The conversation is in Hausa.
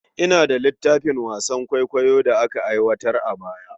Ina da littafin wasan kwaikwayon Hausa da aka aiwatar a baya.